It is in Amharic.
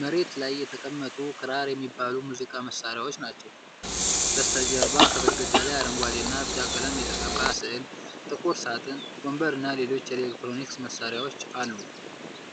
መሬት ላይ የተቀመጡ ክራር የሚባሉ የሙዚቃ መሣሪያዎች ናቸው። ከበስተጀርባ በግድግዳ ላይ አረንጓዴና ቢጫ ቀለም የተቀባ ሥዕል፣ ጥቁር ሳጥን፣ ወንበር እና ሌሎች የኤሌክትሮኒክስ መሳሪያዎች አሉ።